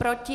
Proti?